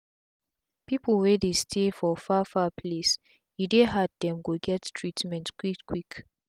pipu wey dey stay for far far place e dey hard dem to get treatment quick quick